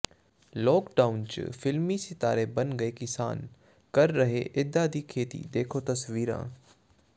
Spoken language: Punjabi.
ਲਾਕ ਡਾਊਨ ਚ ਫ਼ਿਲਮੀ ਸਿਤਾਰੇ ਬਣ ਗਏ ਕਿਸਾਨ ਕਰ ਰਹੇ ਨੇ ਏਦਾਂ ਖੇਤੀ ਦੇਖੋ ਤਸਵੀਰਾਂ